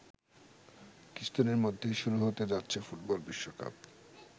কিছুদিনের মধ্যেই শুরু হতে যাচ্ছে ফুটবল বিশ্বকাপ।